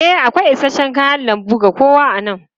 E, akwai isasshen kayan lambu ga kowa a nan.